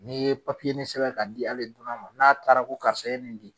N'i ye papiyenin sɛbɛn ka di hali dunan ma n'a taara ko karisa ye nin di